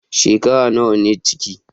Shekara nawa ne ciki?